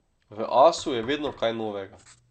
V Asu je vedno kaj novega.